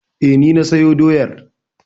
E, ni na sayo doyar.